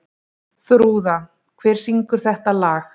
Þrúða, hver syngur þetta lag?